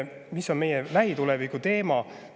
Mis on meie lähituleviku teema?